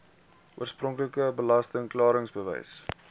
oorspronklike belasting klaringsbewys